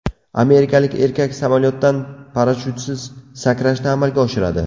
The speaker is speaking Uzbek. Amerikalik erkak samolyotdan parashyutsiz sakrashni amalga oshiradi.